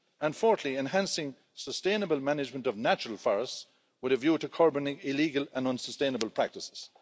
And fourthly, enhancing sustainable management of natural forests with a view to curbing illegal and unsustainable practices.